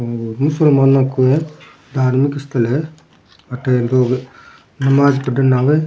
मुसलमानो का है धार्मिक स्थल है अठ लोग नमाज पढ़ने न आवे है।